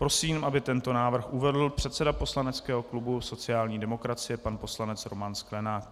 Prosím, aby tento návrh uvedl předseda poslaneckého klubu sociální demokracie pan poslanec Roman Sklenák.